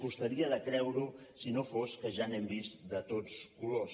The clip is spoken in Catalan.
costaria de creure ho si no fos que ja n’hem vist de tots colors